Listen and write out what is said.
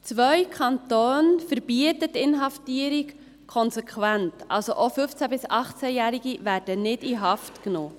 Zwei Kantone verbieten Inhaftierungen konsequent, also werden auch 15- bis 18-Jährige nicht in Haft genommen.